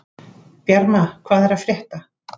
Bjarma, hvað er að frétta?